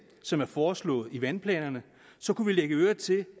som er forslået i vandplanerne kunne vi lægge øre til